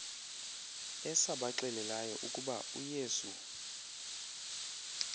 esabaxelelayo ukuba uyesu